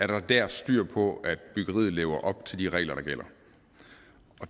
der dér er styr på at byggeriet lever op til de regler der gælder